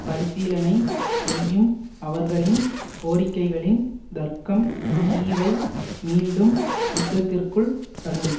பரிசீலனை செய்யும் அவர்களின் கோரிக்கைகளின் தர்க்கம் தீவை மீண்டும் யுத்தத்திற்குள் தள்ளும்